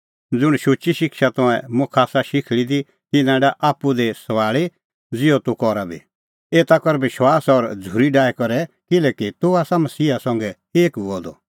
ज़ुंण शुची शिक्षा तंऐं मुखा आसा शिखल़ी दी तिन्नां डाह आप्पू दी सभाल़ी ज़िहअ तूह करा बी एता कर विश्वास और झ़ूरी डाही करै किल्हैकि तूह आसा मसीहा संघै एक हुअ द